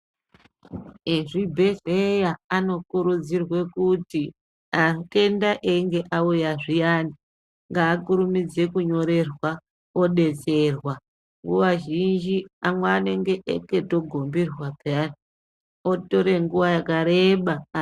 Ezvibhedheya anokurudzirwe kuti atenda eyinge auya zviyani, ngaakurumidze kunyorerwa odetserwa. Nguwa zhinji amwe anenge akatogomberwa pheyani, otore nguwa yakareba.